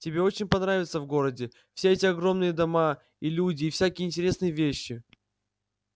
тебе очень понравится в городе все эти огромные дома и люди и всякие интересные вещи